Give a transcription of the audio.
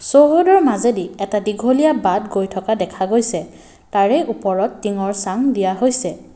চৌহদৰ মাজেদি এটা দীঘলীয়া বাট গৈ থকা দেখা গৈছে তাৰে ওপৰত টিঙৰ চাম দিয়া হৈছে।